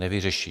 Nevyřeší!